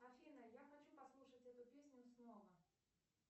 афина я хочу послушать эту песню снова